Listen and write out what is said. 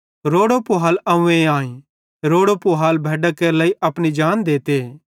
रोड़ो पूहाल अव्वें आईं रोड़ो पूहाल भैड्डां केरे लेइ अपनी जान देते